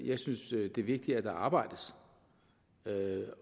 jeg synes at det er vigtigere at der arbejdes med